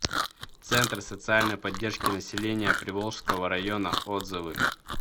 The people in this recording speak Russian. центр социальной поддержки населения приволжского района отзывы